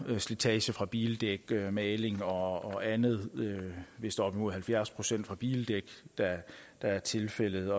slitage fra bildæk maling og og andet vist op imod halvfjerds procent fra bildæk der er tilfældet